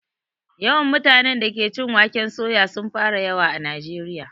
Yawan mutanen da ke cin waken soya sun fara yawa a najeriya